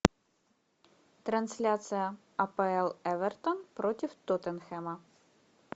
трансляция апл эвертон против тоттенхэма